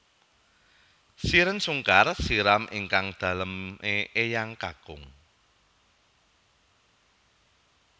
Shireen Sungkar siram ingkang dalem e eyang kakung